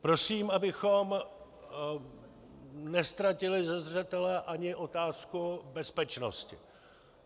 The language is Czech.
Prosím, abychom neztratili ze zřetele ani otázku bezpečnosti.